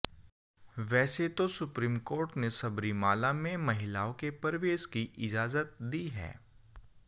वैसे तो supreme court ने सबरीमाला में महिलाओं के प्रवेश की इजाजत दी है